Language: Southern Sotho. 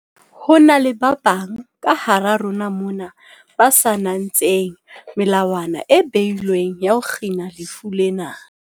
Ho na le ba bang kahara rona mona ba sa natseng melawana e beilweng ya ho kgina lefu lena.